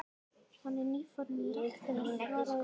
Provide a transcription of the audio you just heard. Hann er nýfarinn í ræktina- svaraði Urður.